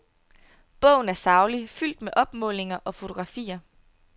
Bogen er saglig, fuldt med opmålinger og fotografier.